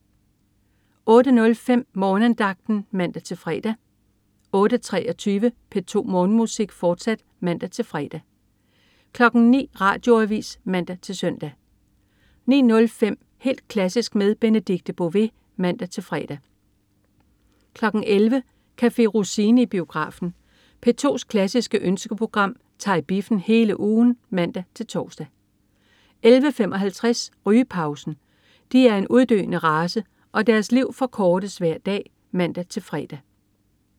08.05 Morgenandagten (man-fre) 08.23 P2 Morgenmusik, fortsat (man-fre) 09.00 Radioavis (man-søn) 09.05 Helt klassisk med Benedikte Bové (man-fre) 11.00 Café Rossini i biografen. P2's klassiske ønskeprogram tager i biffen hele ugen (man-tors) 11.55 Rygepausen. De er en uddøende race, og deres liv forkortes hver dag (man-fre)